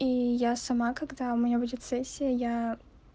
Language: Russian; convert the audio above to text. и я сама когда у меня будет сессия я